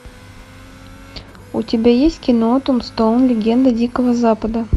у тебя есть кино том стоун легенда дикого запада